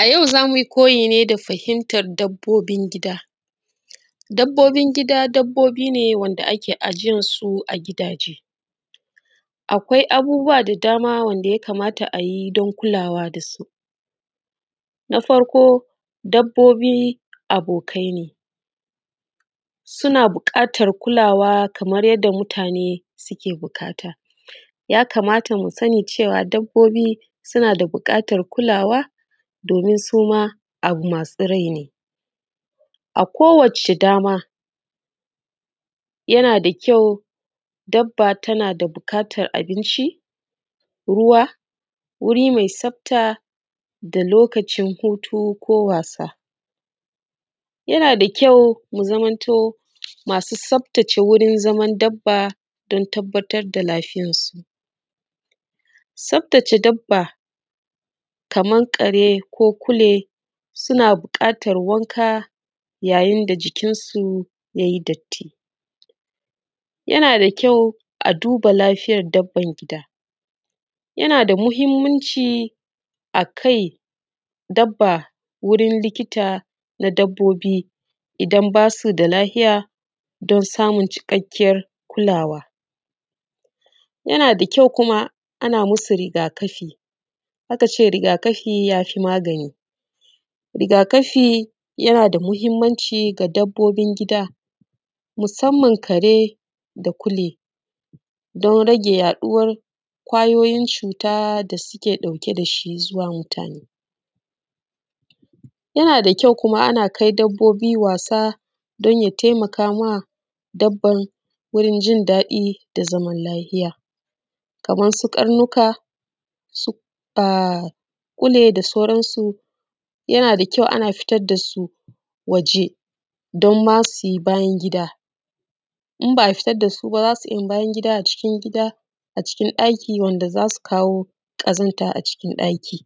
A yau za mu yi koyi da fahimtar dabbobin gida. Dabbobin gida dabbobi ne wanda ake ajiyan su a gidaje. Akwai abubuwa da dama wanda ya kamata a yi don kulawa da su. Na farko dabbobi abokai ne suna buƙatar kulawa kamar yadda mutane suke buƙata. Ya kamata mu sani cewa dabbobi suna da buƙatan kulawa domin suma abu masu rai ne. A ko wace dama yana da kyau dabba tana da buƙatan abinci, ruwa, wuri mai tsafta da lokacin hutu ko wasa. Yana da kyau mu zamanto masu tsaftace wajan zaman dabba don tabbatar da lafiyan su. Tsaftace dabba kaman kare, ko kule suna buƙatan wanka yayin da jikinsu yayi datti. Yana da kyau a duba lafiyan dabban gida, yana da mahimmanci a kai dabba wurin likita na dabbobi idan ba su da lafiya don samun cikakkiyar kulawa. Yana da kyau kuma a na masu rigakafi. Aka ce rigakafi ya fi magani. Rigakafi yana da muhimmanci ga dabbobin gida musanman kare da kule don rage yaɗuwan ƙwayoyin cuta da suke ɗauke da shi zuwa mutane. Yana da kyau ana kai dabbobi wasa don ya taimaka ma dabban wurin jin daɗi da zamani lafiya, kamar su karnuka da kule da sauransu. Yana da kyau ana fitar da su waje don ma su yi bayan gida, in ba a fitar da su ba, za su iya yi a cikin gida a cikin ɗaki wanda za su kawo ƙazanta a cikin ɗaki.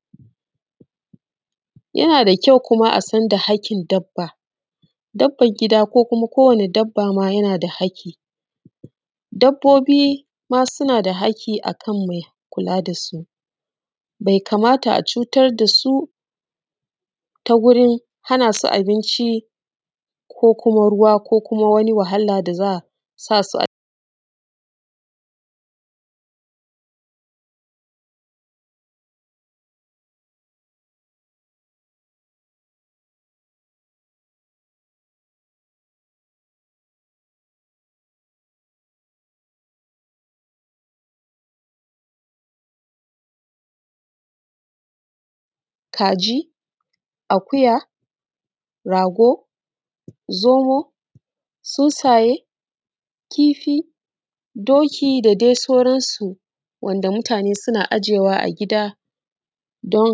Yana da kyau kuma asan da haƙƙin dabba. Dabban gida ko wane dabba ma na da haƙƙi. Dabbobi ma suna da haƙƙi akan mai kula da su bai kamata a cutar da su ta gurin hana su abinci ko kuma ruwa, ko kuma wani wahala da za a sa su a ciki. Kaji, akuya, rago, zomo, tsuntsaye, kifi, da dai sauransu wanda mutane suna aje wa a gida don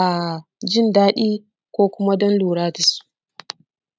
a jindaɗi ko kuma don lura dasu.